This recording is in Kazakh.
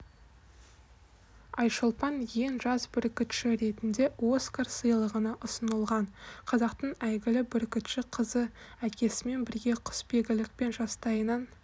айшолпан ең жас бүркітші ретінде оскар сыйлығына ұсынылған қазақтың әйгілі бүркітші қызы әкесімен бірге құсбегілікпен жастайынан